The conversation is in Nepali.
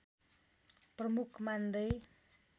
प्रमुख मान्दै